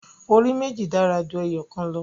Orí méjì dára ju ẹyọ̀kan lọ.